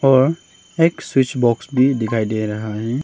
और एक switch box भी दिखाई दे रहा है।